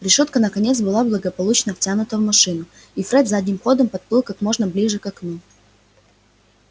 решётка наконец была благополучно втянута в машину и фред задним ходом подплыл как можно ближе к окну